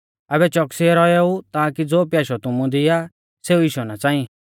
आबै च़ोकसीऐ रौएऊ ताकी ज़ो प्याशौ तुमु दी आ सेऊ इशौ ना च़ांईं